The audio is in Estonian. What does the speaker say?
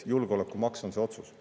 Julgeolekumaks on see otsus.